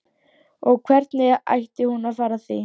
Og hvernig ætti hún að fara að því?